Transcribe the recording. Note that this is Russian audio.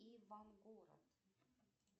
иван город